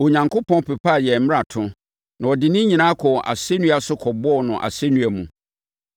Onyankopɔn pepaa yɛn mmarato; na ɔde ne nyinaa kɔɔ asɛnnua so kɔbɔɔ no asɛnnua mu.